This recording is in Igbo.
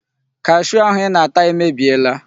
Kashuu ahụ ị na-ata emebiela.